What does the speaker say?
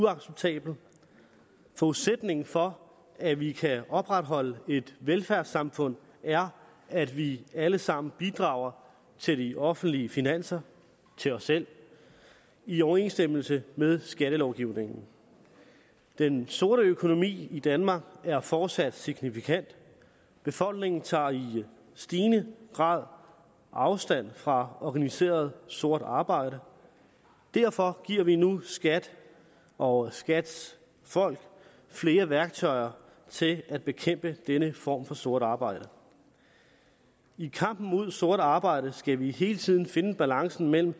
uacceptabelt forudsætningen for at vi kan opretholde et velfærdssamfund er at vi alle sammen bidrager til de offentlige finanser til os selv i overensstemmelse med skattelovgivningen den sorte økonomi i danmark er fortsat signifikant befolkningen tager i stigende grad afstand fra organiseret sort arbejde derfor giver vi nu skat og skats folk flere værktøjer til at bekæmpe denne form for sort arbejde i kampen mod sort arbejde skal vi hele tiden finde balancen mellem